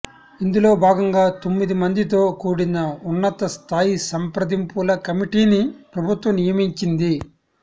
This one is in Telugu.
ఇందులో భాగంగా తొమ్మిది మందితో కూడిన ఉన్నత స్థాయి సంప్రదింపుల కమిటీని ప్రభుత్వం నియమించింది